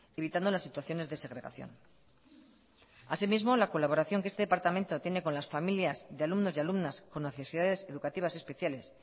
evitando las situaciones de segregación así mismo la colaboración que este departamento tiene con las familias de alumnos y alumnas con necesidades educativas especiales